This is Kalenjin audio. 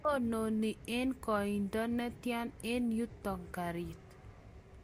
tononi eng' koindo netya eng yuto karit?